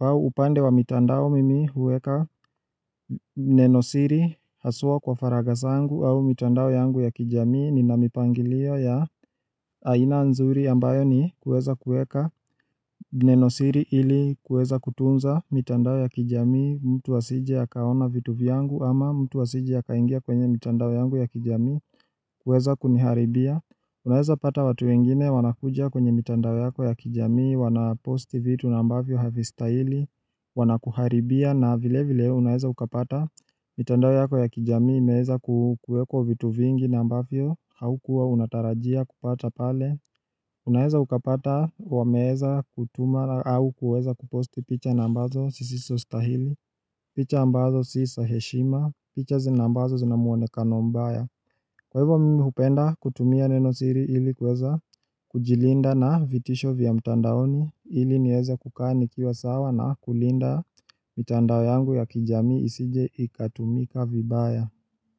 au upande wa mitandao mimi hueka nenosiri haswa kwa faraga zangu au mitandao yangu ya kijamii nina mipangilio ya aina nzuri ambayo ni kueza kueka nenosiri ili kueza kutunza mitandao ya kijamii mtu asije akaona vitu viyangu ama mtu wa asije akaingia kwenye mitandao yangu ya kijamii kueza kuniharibia. Unaeza pata watu wengine wanakuja kwenye mitandao yako ya kijamii wanaposti vitu na ambavyo havistahili Wanakuharibia na vile vile unaeza ukapata mitandao yako ya kijamii imeeza ku kuekwa vitu vingi na ambavyo haukua unatarajia kupata pale Unaeza ukapata wameeza kutuma au kueza kuposti picha na ambazo zisizo stahili picha nambazo si za heshima, picha zinambazo zina muonekano mbaya Kwa hivyo mimi hupenda kutumia nenosiri ili kuweza kujilinda na vitisho vya mtandaoni ili nieza kukaa nikiwa sawa na kulinda mitandao yangu ya kijamii isije ikatumika vibaya.